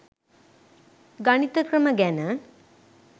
ගණිත ක්‍රම ගැන.